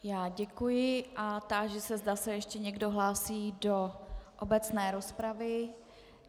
Já děkuji a táži se, zda se ještě někdo hlásí do obecné rozpravy.